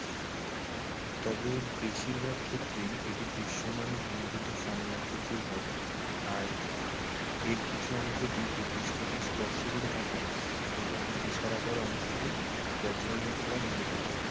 তবে বেশির ভাগ ক্ষেত্রেই এটি দৃশ্যমান ঘনীভূত ফানেল আকৃতির হয়। আর এর কিছু অংশটি ভূপৃষ্ঠকে স্পর্শ করে থাকে। এবং বিশার আকার অংশটি বজ্র মেঘ দ্বারা ঘিরে থাকে।